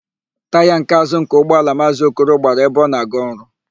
Taya nke àzụ́ nke ụgbọala Maazị Okoro gbara ebe ọ na-aga ọrụ.